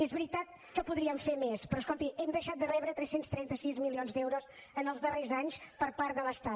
és veritat que podríem fer més però escolti hem deixat de rebre tres cents i trenta sis milions d’euros en els darrers anys per part de l’estat